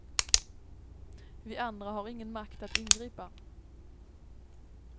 Vi andra har ingen makt att ingripa.